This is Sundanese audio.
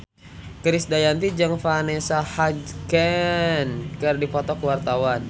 Krisdayanti jeung Vanessa Hudgens keur dipoto ku wartawan